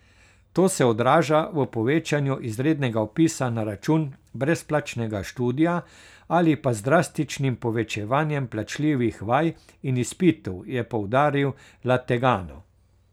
To se odraža v povečevanju izrednega vpisa na račun brezplačnega študija ali pa z drastičnim povečevanjem plačljivih vaj in izpitov, je poudaril Lategano.